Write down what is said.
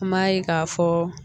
An m'a ye k'a fɔ